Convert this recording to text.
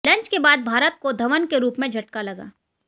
lunch के बाद भारत को धवन के रूप में झटका लगा